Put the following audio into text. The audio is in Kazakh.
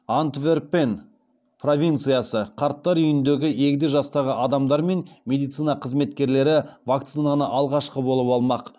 қарттар үйіндегі егде жастағы адамдар мен медицина қызметкерлері вакцинаны алғашқы болып алмақ